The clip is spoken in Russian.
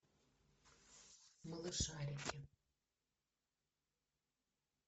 малышарики